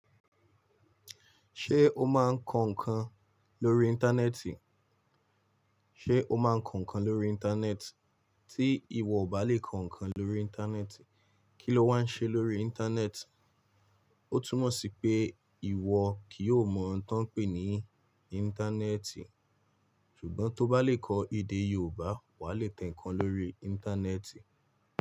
Ṣé o máa ń kọ ǹkan lórí Íńtánẹ́ẹ̀tì? O máa ń kọ ǹkan lórí Íńtánẹ́ẹ̀tì? Tí ìwọ ò bá lè kọ ǹkan lórí Íńtánẹ́ẹ̀tì, kí ló wà á ṣe lórí Íńtánẹ́ẹ̀tì? Ó túmọ̀ sí pé ìwọ kì yóò mọ ohun tọ́n ń pè ní Íńtánẹ́ẹ̀tì. Ṣùgbọ́n tó bá lè kọ èdè Yorùbá, wà á le tẹ ǹkan lórí Íńtánẹ́ẹ̀tì.